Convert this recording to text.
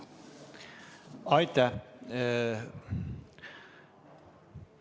Aitäh!